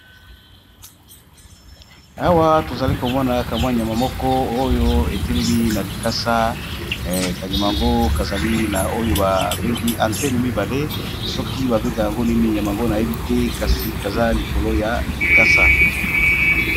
Awa tozali komona kamwa nyama moko oyo etelemi na likasa kanyama ngo kazali na oyo babengi atene mibale soki babenga yango nini nyama ngo na yebi te kasi kaza likolo ya likasa.